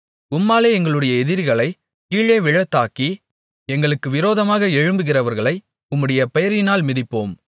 உம்மாலே எங்களுடைய எதிரிகளைக் கீழே விழத்தாக்கி எங்களுக்கு விரோதமாக எழும்புகிறவர்களை உம்முடைய பெயரினால் மிதிப்போம்